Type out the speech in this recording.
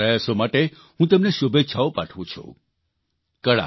ભવિષ્યના તેમના આ પ્રયાસો માટે હું તેમને શુભેચ્છાઓ પાઠવું છું